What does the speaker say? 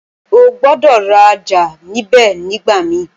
O gbọ́dọ̀ rajà níbẹ̀ nígbà mí